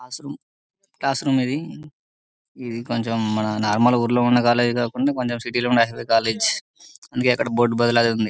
Classroom ఇది ఇది కొంచం మన నార్మల్ ఊరులో ఉన్న కాలేజ్ కాకుండా కొంచం సిటీ లో ఉండే హైవే కాలేజీ అందుకే అక్కడ బోర్డు బద్దలు ఇదుంది.